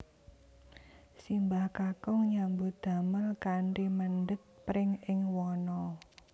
Simbah kakung nyambut damel kanthi mendhet pring ing wana